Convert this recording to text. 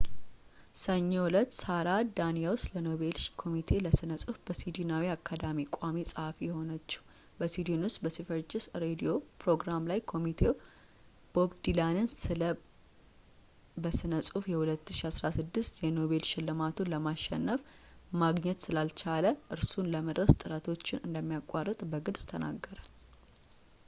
ሰኞ ዕለት ሳራ ዳኒየስ ለኖቤል ኮሚቴ ለስነ ጽሁፍ በስዊድናዊ አካዳሚ ቋሚ ጸሃፊ የሆነቸው በስዊድን ውስጥ በስቨሪጅስ ሬድዮ ፕሮግራም ላይ ኮሚቴው ቦብ ዲላንን ስለ በስነ ጽሁፍ የ2016 የኖቤል ሽልማቱን ስለማሸንፍ ማግኘት ስላልቻለ እርሱን ለመድረስ ጥረቶችን እንሚያቋረጥ በግልጽ ተናገረ